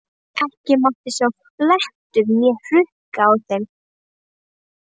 Ekki mátti sjást blettur né hrukka á þeim.